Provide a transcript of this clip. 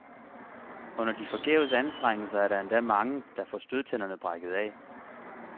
Under de forgæves anstrengelser er der endda mange, der får stødtænderne brækket af.